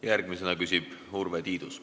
Järgmisena küsib Urve Tiidus.